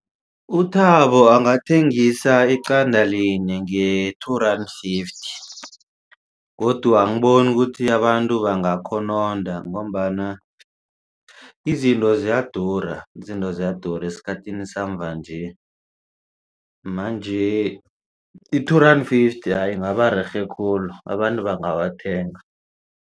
UThabo angathengisa iqada linye nge-two rand fifty godu angiboni ukuthi abantu bangakhononda ngombana izinto ziyadura izinto ziyadura esikhathini samvanje manje i-two rand fifty ingaba rerhe khulu abantu bangawathenga.